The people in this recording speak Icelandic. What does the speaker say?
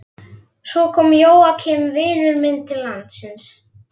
Svo kom Jóakim vinur minn til landsins.